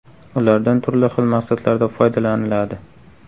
Ulardan turli xil maqsadlarda foydalaniladi.